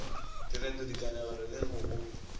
direto dikanegelo le go go